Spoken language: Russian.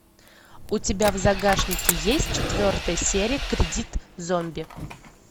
у тебя в загашнике есть четвертая серия кредит зомби